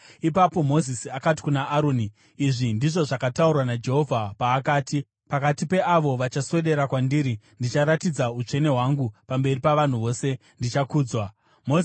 Ipapo Mozisi akati kuna Aroni, “Izvi ndizvo zvakataurwa naJehovha paakati: “ ‘Pakati peavo vachaswedera kwandiri ndicharatidza utsvene hwangu, pamberi pavanhu vose ndichakudzwa.’ ” Aroni akaramba anyerere.